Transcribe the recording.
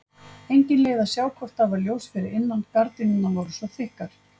Engin leið að sjá hvort það var ljós fyrir innan, gardínurnar voru svo þykkar.